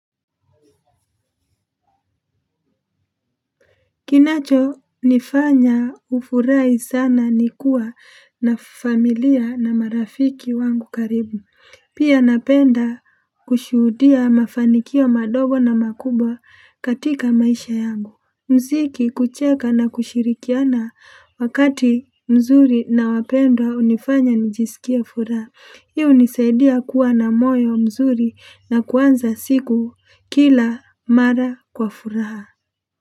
Kinacho nifanya hufurahi sana ni kuwa na familia na marafiki wangu karibu. Pia napenda kushuhudia mafanikio madogo na makubwa katika maisha yangu. Mziki, kucheka na kushirikiana wakati mzuri na wapenda hunifanya nijisikia furaha. Hio hunisaidia kuwa na moyo mzuri na kuanza siku kila mara kwa furaha.